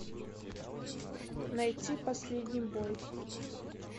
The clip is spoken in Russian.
найти последний бой